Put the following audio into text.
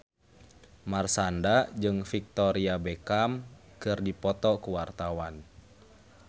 Marshanda jeung Victoria Beckham keur dipoto ku wartawan